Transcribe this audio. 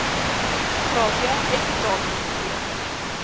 gratia uitbetalings d